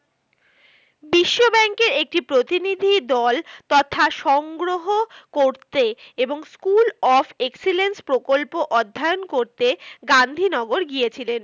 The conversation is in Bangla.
বিশ্বব্যাঙ্ক এর একটি প্রতিনিধি দল তথা সংগ্রহ করতে এবং স্কুল অফ এক্সেলেন্স প্রকল্প অধ্যয়ন করতে গান্ধীনগর গিয়েছিলেন।